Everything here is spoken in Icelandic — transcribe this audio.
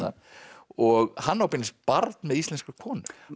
og hann á beinlínis barn með íslenskri konu